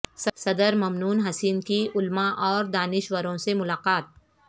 صدر ممنون حسین کی علما اور دانشوروں سے ملاقات